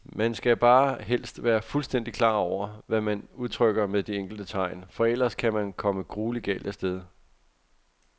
Man skal bare helst være fuldstændigt klar over, hvad man udtrykker med de enkelte tegn, for ellers kan man komme grueligt galt af sted.